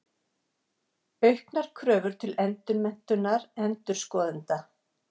Auknar kröfur til endurmenntunar endurskoðenda.